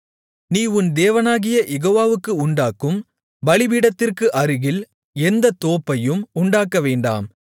நீ உன் தேவனாகிய யெகோவாவுக்கு உண்டாக்கும் பலிபீடத்திற்கு அருகில் எந்த தோப்பையும் உண்டாக்கவேண்டாம்